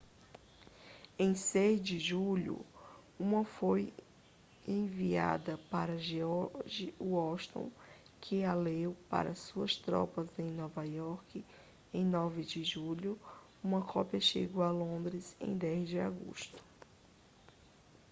em 6 de julho uma foi enviada para george washington que a leu para as suas tropas em nova iorque em 9 de julho uma cópia chegou a londres em 10 de agosto